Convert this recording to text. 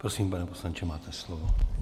Prosím, pane poslanče, máte slovo.